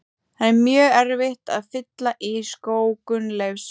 Það er mjög erfitt að fylla í skó Gunnleifs.